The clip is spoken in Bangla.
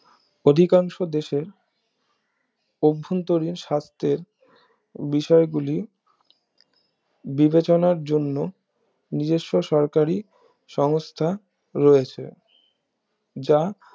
অধিকাংশ দেশের অভ্যন্তরীণ স্বাস্থ্যর বিষয় গুলি বিবেচনার জন্য নিজেস্ব সরকারি সমস্থা রয়েছে যা